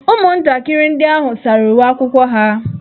Ụmụntakịrị ndị ahụ sara uwe akwụkwọ ha.